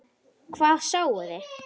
Hvað sáuði?